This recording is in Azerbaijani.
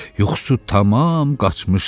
Yuxusu tamam qaçmışdı.